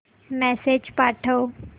message पाठव